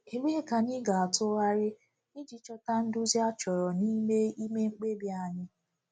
Ebee ka anyị ga-atụgharị iji chọta nduzi achọrọ n’ime ime mkpebi anyị?